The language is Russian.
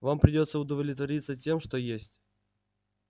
вам придётся удовлетвориться тем что есть